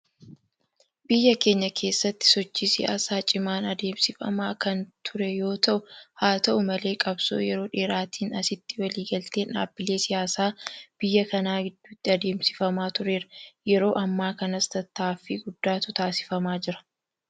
Biyya keenya keessatti sochii siyaasaa cimaan adeemsifamaa kan ture yoota'u; Haa ta'u malee qabsoo yeroo dheeraatiin asitti walii galteen dhaabbilee siyaasaa biyya kanaa gidduutti adeemsifamaa tureera. Yeroo ammaa kanas tattaaffii guddaatu taasifamaa jira.